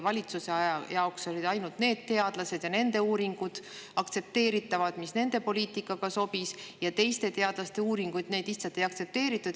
Valitsuse jaoks olid aktsepteeritavad ainult need teadlased ja need uuringud, mis nende poliitikaga sobisid, ja teiste teadlaste uuringuid lihtsalt ei aktsepteeritud.